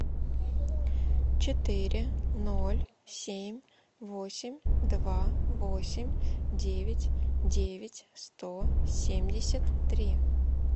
четыре ноль семь восемь два восемь девять девять сто семьдесят три